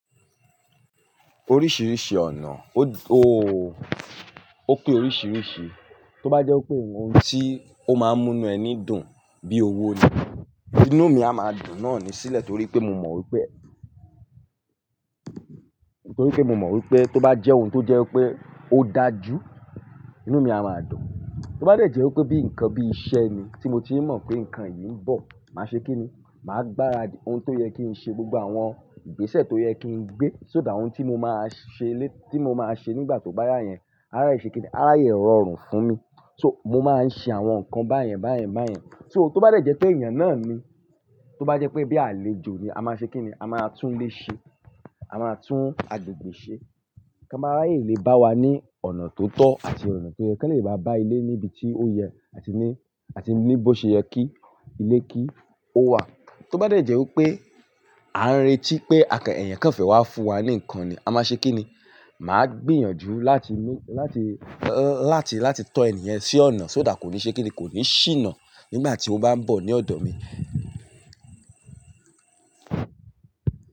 Oríṣiríṣi ọ̀nà, o-- o pé oríṣiríṣi, tó bá jẹ́ pé ohun tí ó máa ń múnú ẹni dùn bí owó ni, inú mi a máa dùn náà ni sílẹ̀ torí pé mo mọ̀ wípé, torí pé mo mọ̀ wípé tó bá jẹ́ ohun tó jẹ́ pé ó dáa jù, inú mi a máa dùn. Tó bá dẹ̀ jẹ́ pé bí nǹkan bí iṣẹ́ ni tí mo ti ń mọ̀ pé nǹkan yìí ń bọ̀, màá ṣe kí ni? Màá gbáradì ohun tó yẹ kí n ṣe, gbogbo àwọn ìgbésẹ̀ tó yẹ kí n gbé, só that ohun tí mo máa ṣe lé-- tí mo máa ṣe nígbà tó bá yá yẹn, a rá ṣe kí ni? A rá yẹ rọrùn fún mi. So mo máa ń ṣe àwọn nǹkan báyẹn báyẹn báyẹn. So tó bá dẹ̀ jẹ́ pé èèyàn náà ni, tó bá jẹ́ pé bí àlejò ni, a máa ṣe kí ni? A máa tún ilé ṣe, a máa tún agbègbè ṣe, ká máa rá yẹ lè bá wa ní ọ̀nà tó tọ́ àti ọ̀nà tó yẹ kí an lè bá bá ilé níbi tí ó yẹ àti ní, àti ní bó ṣe yẹ kí ilé kí ó wà. Tó bá dẹ̀ jẹ́ wípé a ń retí pé àkàn-- ẹ̀yàn kan fẹ́ wá fún wa ní nǹkan ni, a máa ṣe kí ni? Màá gbìyànjú láti mú-- láti, láti, láti tọ́ èni yẹn sí ọ̀nà, só that kò ní ṣe kí ni? Kò ní ṣìnà nígbà tí ó bá ń bọ̀ ní ọ̀dọ̀ mi.